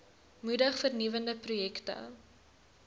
moedig vernuwende projekte